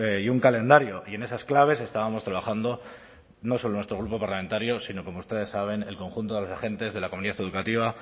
y un calendario y en esas claves estábamos trabajando no solo nuestro grupo parlamentario sino como ustedes saben el conjunto de los agentes de la comunidad educativa